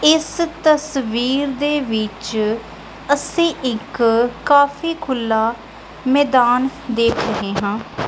ਇਸ ਤਸਵੀਰ ਦੇ ਵਿੱਚ ਅਸੀਂ ਇੱਕ ਕਾਫੀ ਖੁੱਲਾ ਮੈਦਾਨ ਦੇਖ ਰਹੇ ਹਾਂ।